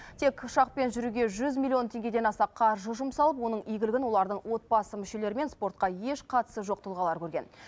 тек ұшақпен жүруге жүз миллион теңгедан аса қаржы жұмсалып оның игілігін олардың отбасы мүшелері мен спортқа еш қатысы жоқ тұлғалар көрген